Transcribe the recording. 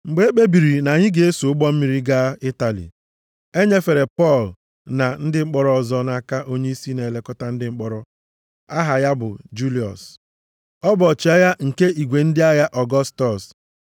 Mgbe e kpebiri na anyị ga-eso ụgbọ mmiri gaa Itali, e nyefere Pọl na ndị mkpọrọ ọzọ nʼaka onyeisi na-elekọta ndị mkpọrọ aha ya bụ Juliọs. Ọ bụ ọchịagha nke igwe ndị agha Ọgọstọs.